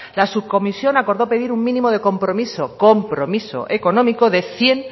las subcomisión acordó pedir un mínimo de compromiso compromiso económico de cien